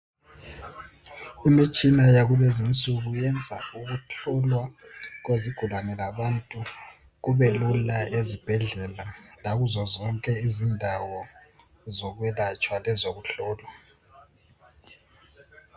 Imitshina yakulezinsuku iyenza ukuhlolwa kwezigulane labantu kubelula ezibhedlela lakuzozonke izindawo zokwelatshwa lezokuhlolwa.